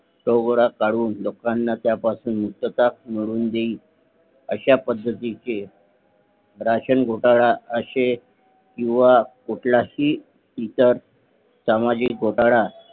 तोडगा काढून लोकांना त्या पासून मुक्तता मिळवून देईल अशा पद्धतीचे राशन घोटाळा अशे किंवा कुठला हि सामाजिक घोटाळा